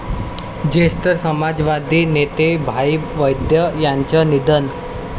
ज्येष्ठ समाजवादी नेते भाई वैद्य यांंचं निधन